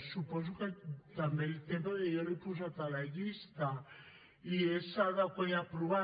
suposo que també el té perquè jo l’he posat a la llista i és adequar i aprovar